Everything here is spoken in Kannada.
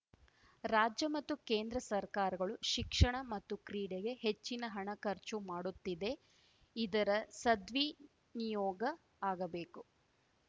ರಾಜ್ಯ ಮತ್ತು ಕೇಂದ್ರ ಸರ್ಕಾರಗಳು ಶಿಕ್ಷಣ ಮತ್ತು ಕ್ರೀಡೆಗೆ ಹೆಚ್ಚಿನ ಹಣ ಖರ್ಚು ಮಾಡುತ್ತಿದೆ ಇದರ ಸದ್ವಿನಿಯೋಗ ಆಗಬೇಕು